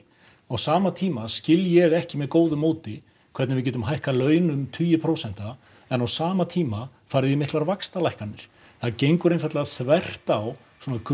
á sama tíma skil ég ekki með góðu móti hvernig við getum hækkað laun um tugi prósenta en á sama tíma farið í miklar vaxtalækkanir það gengur einfaldlega þvert á